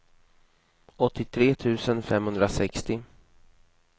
åttiotre tusen femhundrasextio